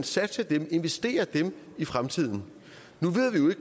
satse dem investere dem i fremtiden nu